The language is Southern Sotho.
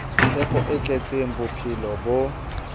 phepo e tletseng bophelo bo